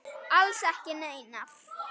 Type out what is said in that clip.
Alls ekki neinar.